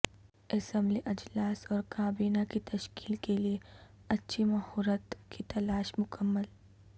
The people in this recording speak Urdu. اسمبلی اجلاس اور کابینہ کی تشکیل کیلئے اچھی مہورت کی تلاش مکمل